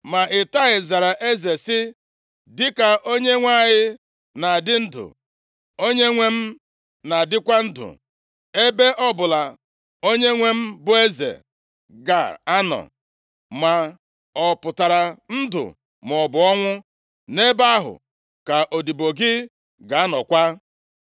Ma Itai zara eze sị, “Dịka Onyenwe anyị na-adị ndụ, onyenwe m na-adịkwa ndụ, ebe ọbụla onyenwe m bụ eze ga-anọ, ma ọ pụtara ndụ maọbụ ọnwụ, nʼebe ahụ ka odibo gị ga-anọkwa.”